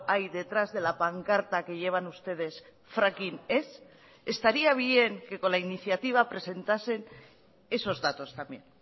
hay detrás de la pancarta que llevan ustedes fracking ez estaría bien que con la iniciativa presentasen esos datos también